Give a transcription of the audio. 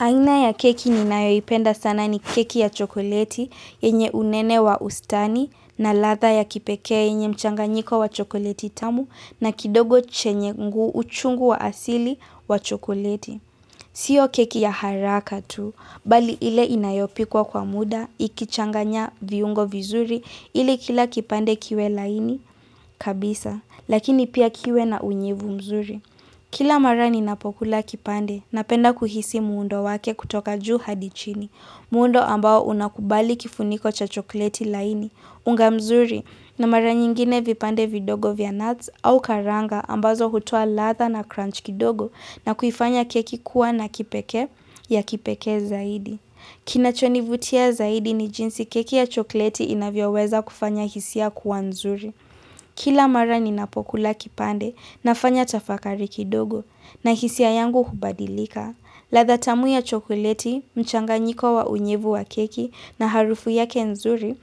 Aina ya keki ni nayoipenda sana ni keki ya chokoleti yenye unene wa ustani na ladha ya kipekea yenye mchanganyiko wa chokoleti tamu na kidogo chenye ngu uchungu wa asili wa chokoleti. Sio keki ya haraka tu, bali ile inayopikwa kwa muda, ikichanganya viungo vizuri ili kila kipande kiwe laini kabisa, lakini pia kiwe na unyevu mzuri. Kila mara ni napokula kipande napenda kuhisi muundo wake kutoka juu hadi chini, muundo ambao unakubali kifuniko cha chokoleti laini, unga mzuri na mara nyingine vipande vidogo vya nuts au karanga ambazo hutoa ladha na crunch kidogo na kuifanya keki kuwa na kipeke ya kipeke zaidi. Kinacho nivutia zaidi ni jinsi keki ya chokleti inavyo weza kufanya hisia kuwa nzuri. Kila mara ni napokula kipande nafanya tafakari kidogo na hisia yangu hubadilika. Ladha tamu ya chokleti, mchanganyiko wa unyevu wa keki na harufu yake nzuri